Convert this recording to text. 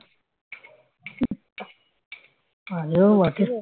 পারেও বটে